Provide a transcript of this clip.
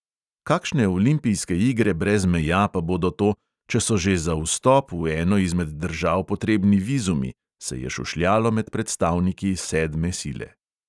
Kakšne olimpijske igre brez meja pa bodo to, če so že za vstop v eno izmed držav potrebni vizumi, se je šušljalo med predstavniki sedme sile.